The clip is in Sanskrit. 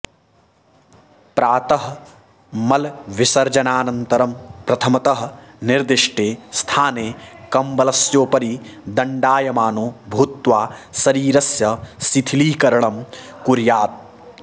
प्रातः मलविसर्जनानन्तरं प्रथमतः निर्दिष्टे स्थाने कम्बलस्योपरि दण्डायमानो भूत्वा शरीरस्य शिथिलीकरणं कुर्यात्